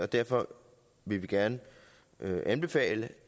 derfor vil vi gerne i dag anbefale